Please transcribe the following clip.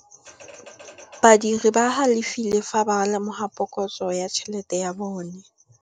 Badiri ba galefile fa ba lemoga phokotsô ya tšhelête ya bone.